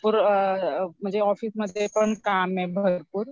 म्हणजे ऑफिसमध्ये पण काम आहे भरपूर